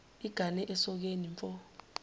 igane esokeni mfo